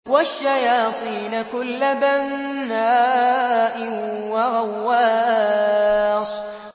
وَالشَّيَاطِينَ كُلَّ بَنَّاءٍ وَغَوَّاصٍ